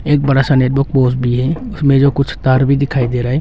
एक बड़ा सा भी है उसमें जो कुछ तार भी दिखाई दे रहा है।